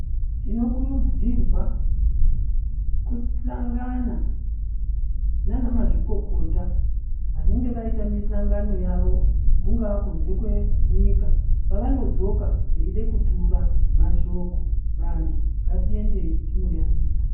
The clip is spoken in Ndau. Tinokurudzirwa kusahlangana naanamazvikokota vanenge vaita mihlangano yavo, kungaa kunze kwenyika. Pavanodzoka veida kutura mashoko, vantu ngatiendeyi koyaiya.